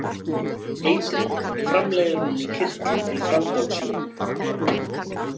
Eitrið framleiðir hún í kirtlum í frambol sínum.